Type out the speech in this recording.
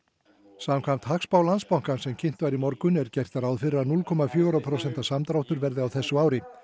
samkvæmt hagspá Landsbankans sem kynnt var í morgun er gert ráð fyrir að núll komma fjögurra prósenta samdráttur verði á þessu ári